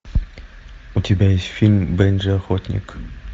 у тебя есть фильм бенджи охотник